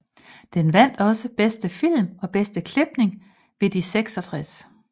Den vandt også Bedste film og Bedste klipning ved de 66